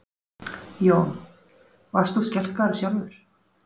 Jón: Varst þú skelkaður sjálfur?